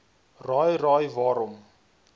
raai raai waarom